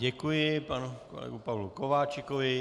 Děkuji panu kolegovi Pavlu Kováčikovi.